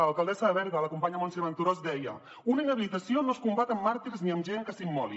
l’alcaldessa de berga la companya montse venturós deia una inhabilitació no es combat amb màrtirs ni amb gent que s’immoli